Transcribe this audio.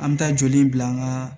An bɛ taa joli bila an ka